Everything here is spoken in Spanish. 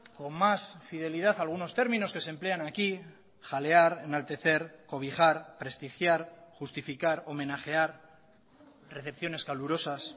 con más fidelidad algunos términos que se emplean aquí jalear enaltecer cobijar prestigiar justificar homenajear recepciones calurosas